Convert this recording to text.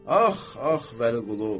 Ax, ax, Vəliqulu.